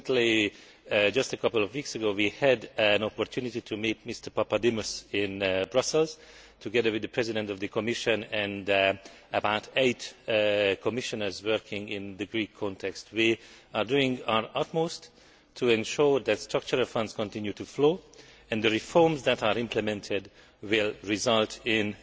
Recently, just a couple of weeks ago, we had an opportunity to meet Mr Papademos in Brussels together with the President of the Commission and some eight Commissioners working in the Greek context. We are doing our utmost to ensure that Structural Funds continue to flow and the reforms that are implemented will result in